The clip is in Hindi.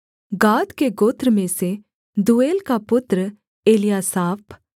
गाद के गोत्र में से दूएल का पुत्र एल्यासाप